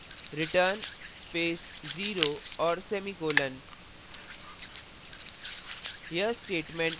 और type करें return space 0 और semicolon ;